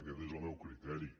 aquest és el meu criteri